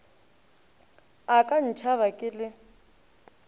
a ka ntšhaba ke le